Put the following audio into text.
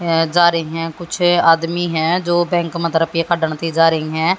जा रही हैं कुछ आदमी हैं जो बैंक में जा रही हैं।